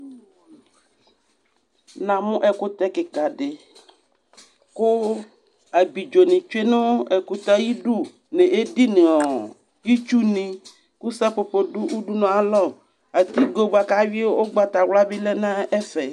Namʋ ɛkʋtɛ kika di kʋ abidzoni tsue nʋ ɛkʋtɛ yɛ ayidu n'edi nʋ ɔɔ itsuni, kʋ sapopo dʋ udunu yɛ ay'alɔ Atigo bua k'ayui ʋgbatawla bi ya na ɛ'ɛfɛ